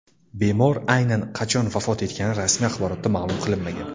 Bemor aynan qachon vafot etgani rasmiy axborotda ma’lum qilinmagan.